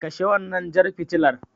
Kashe wannan jar fitilar.